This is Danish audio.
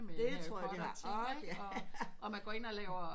Det tror jeg de har ork ja